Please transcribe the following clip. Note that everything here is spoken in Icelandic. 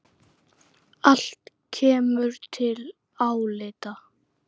Allt kemur til álita.